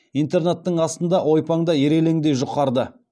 интернаттың астында ойпаңда ирелеңдей жұқарды